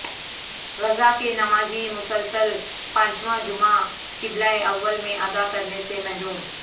غزہ کے نمازی مسلسل پانچواں جمعہ قبلہ اول میں ادا کرنے سے محروم